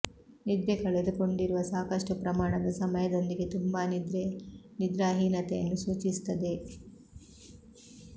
ನಿದ್ರೆ ಕಳೆದುಕೊಂಡಿರುವ ಸಾಕಷ್ಟು ಪ್ರಮಾಣದ ಸಮಯದೊಂದಿಗೆ ತುಂಬಾ ನಿದ್ರೆ ನಿದ್ರಾಹೀನತೆಯನ್ನು ಸೂಚಿಸುತ್ತದೆ